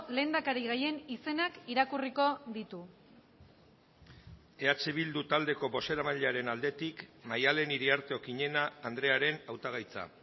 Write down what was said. lehendakari gaien izenak irakurriko ditu eh bildu taldeko bozeramailearen aldetik maddalen iriarte okiñena andrearen hautagaitza